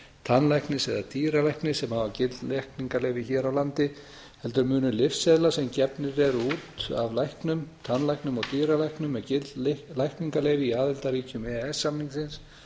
tannlæknis eða dýralæknis sem hafa gild lækningaleyfi hér á landi heldur munu lyfseðlar sem gefnir eru út af læknum tannlæknum og dýralæknum með gild lækningaleyfi í aðildarríkjum e e s samningsins